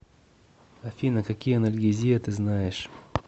афина какие анальгезия ты знаешь